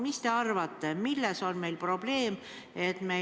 Mis te arvate, milles on probleem?